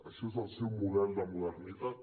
això és el seu model de modernitat